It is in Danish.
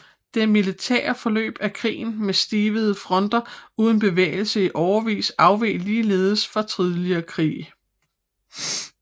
Det militære forløb af krigen med stivnede fronter uden bevægelse i årevis afveg ligeledes fra tidligere krige